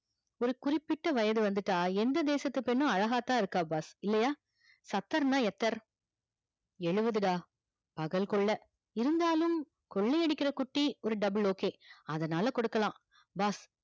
ஒரு குறுப்பிட்ட வயது வந்துடா எந்த தேசத்து பெண்ணும் அழகாதா இருக்கா boss இல்லையா சத்தர் னா எத்தர் ஏழுவது டா பகல் கொள்ள இருந்தாலும் கொள்ளை அடிக்கிற குட்டி ஒரு double ok அதனால குடுக்கலாம் boss